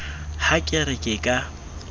ha ke re ke ka